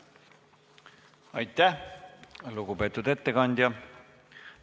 Aitäh, lugupeetud ettekandja!